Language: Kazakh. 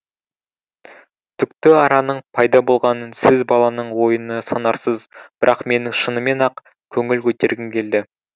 түкті араның пайда болғанын сіз баланың ойыны санарсыз бірақ менің шынымен ақ көңіл көтергім келді